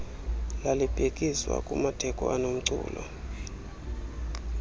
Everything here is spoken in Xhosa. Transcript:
lalibhekiswa kumatheko anomculo